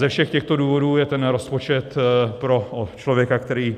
Ze všech těchto důvodů je ten rozpočet pro člověka, který